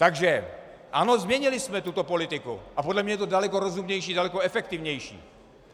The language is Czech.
Takže ano, změnili jsme tuto politiku a podle mě je to daleko rozumnější, daleko efektivnější.